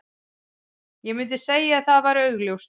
Ég myndi segja að það væri augljóst.